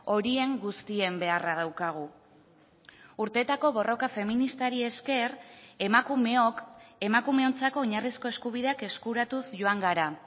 horien guztien beharra daukagu urtetako borroka feministari esker emakumeok emakumeontzako oinarrizko eskubideak eskuratuz joan gara